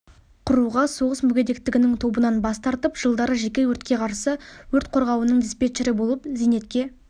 құруға соғыс мүгедектігінің тобынан бас тартып жылдары жеке өртке қарсы өрт қорғауының диспетчері болып зейнетке